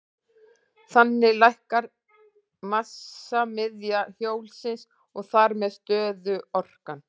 Þannig lækkar massamiðja hjólsins og þar með stöðuorkan.